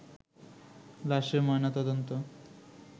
লাশের ময়না তদন্ত